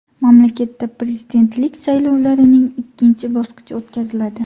Mamlakatda prezidentlik saylovlarining ikkinchi bosqichi o‘tkaziladi.